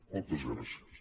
moltes gràcies